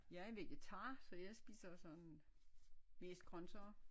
Jeg er vegetar så jeg spiser jo sådan mest grøntsager